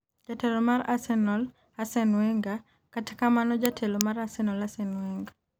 Jatelo mar Arsenal Arsene Wenger. kata kamano jatelo mar Arsenal Arsene Wenger